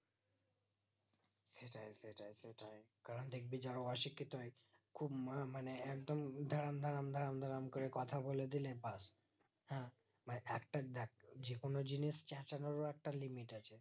কারণ ডাকবি যারা অশিক্ষিত হয় খুব মরমানে একদম ধরাম ধরাম ধরাম ধরাম করে কথা বলে দিলে বাস হ্যাঁ বা একটা দেখ যে কোনো জিনিস চেচালেও বা একটা limit আছে